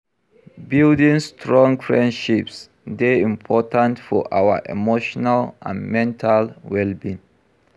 Building strong friendships dey important for our emotional and mental well-being.